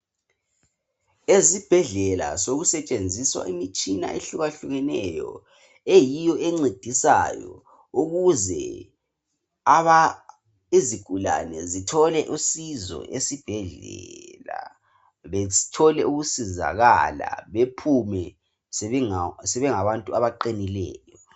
Ezibhedlela sokusetshenziswa imitshina ehlukahlukeneyo eyiyo encedisayo ukuze aba izigulani zitghole usizo ezibhedlela bethole ukusizakala bephume sebengabantu abaqinileyo.